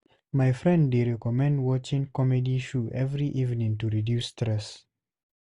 My friend dey recommend watching comedy show every evening to reduce stress.